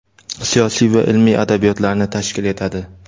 siyosiy va ilmiy adabiyotlarni tashkil etadi.